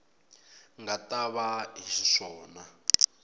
nga ta va hi xiswona